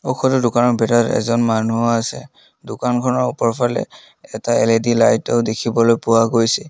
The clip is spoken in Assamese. সৰু দোকানৰ ভিতৰত এজন মানুহো আছে দোকানখনৰ ওপৰৰ ফালে এটা এলেদি লাইটো দেখিবলৈ পোৱা গৈছে।